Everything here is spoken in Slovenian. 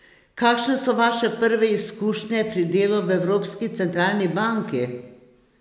Kakšne so vaše prve izkušnje pri delu v Evropski centralni banki?